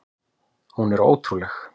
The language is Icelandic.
Hún er ótrúleg!